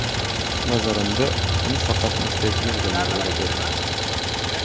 Nazarimda, uni faqat maqtaydigan odamlar o‘rab olgan.